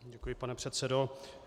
Děkuji, pane předsedo.